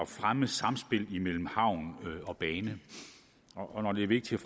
fremme samspillet mellem havn og bane og når det er vigtigt